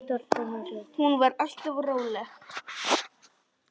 Hún var alltaf róleg.